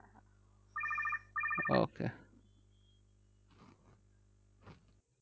Okay